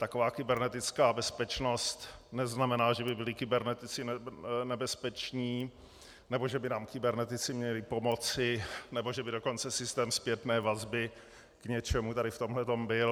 Taková kybernetická bezpečnost neznamená, že by byli kybernetici nebezpeční nebo že by nám kybernetici měli pomoci, nebo že by dokonce systém zpětné vazby k něčemu tady v tomhletom byl.